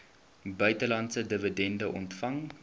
buitelandse dividende ontvang